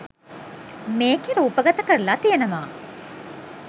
මේකේ රූපගත කරලා තියනවා.